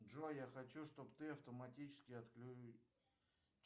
джой я хочу чтобы ты автоматически